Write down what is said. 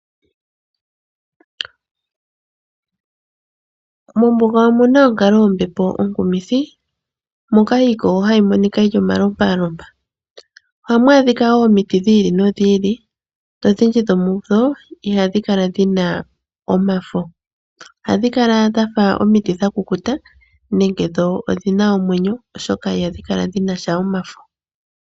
Mombuga omu na onkalo yombepo onkumithi moka iikogo hayi monika yi li omalompalompa. Ohamu adhika wo omiti dhi ili nodhi ili nodhindji dhomudho ihadhi kala dhi na omafo. Ohadhi kala dha fa omiti dha kukuta, nenke dho odhi na omwenyo, oshoka ihadhi kala dhi na sha omafo.